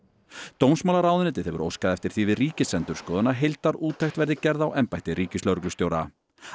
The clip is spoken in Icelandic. dómsmálaráðuneytið hefur óskað eftir því við Ríkisendurskoðun að heildarúttekt verði gerð á embætti ríkislögreglustjóra